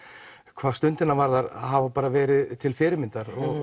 hvað Stundina varðar hafa verið til fyrirmyndar